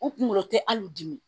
U kunkolo tɛ hali u dimi